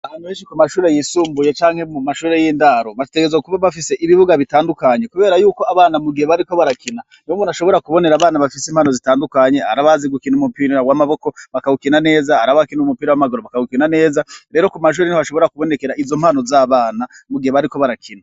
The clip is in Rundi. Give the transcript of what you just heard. Ahantu benshi ku mashure yisumbuye canke muma shure y’indaro ,bategerezwa kuba bafise ibibuga bitandukanye kubera yuko abana mugihe bariko barakina, niho bashobora kubonera impano zitandukanye, arabazi gukina umupira w’amaboko bakawukina neza, ar’abakina umupira w’amaguru bakawukina neza. Rero kumashure niho hashobora kubonekera izo mpano z’abana mugihe bariko barakina.